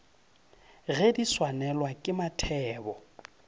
ge di swanelwa ke mathebo